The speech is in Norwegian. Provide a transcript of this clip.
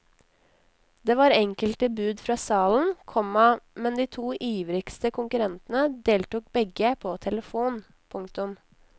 Det var enkelte bud fra salen, komma men de to ivrigste konkurrentene deltok begge på telefon. punktum